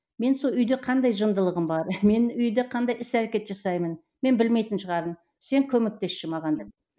мен сол үйде қандай жындылығым бар мен үйде қандай іс әрекет жасаймын мен білмейтін шығармын сен көмектесші маған деп